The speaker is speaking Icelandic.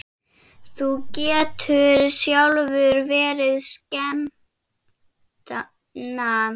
Þú getur sjálfur verið skepna!